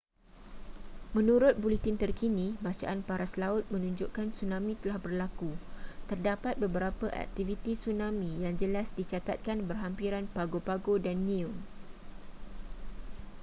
menurut buletin terkini bacaan paras laut menunjukkan tsunami telah berlaku terdapat beberapa aktiviti tsunami yang jelas dicatatkan berhampiran pago pago dan niue